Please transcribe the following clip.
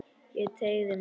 Ég teygði mig.